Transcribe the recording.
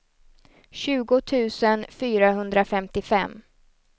tjugo tusen fyrahundrafemtiofem